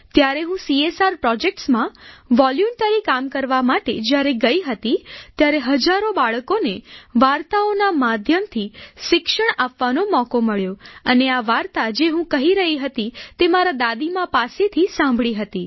ત્યારે હું સીએસઆર projectsમાં વોલન્ટરી કામ કરવા માટે જ્યારે ગઈ હતી ત્યારે હજારો બાળકોને વાર્તાઓના માધ્યમથી શિક્ષણ આપવાનો મોકો મળ્યો અને આ વાર્તા જે હું કહી રહી હતી તે મારી દાદીમાં પાસેથી સાંભળી હતી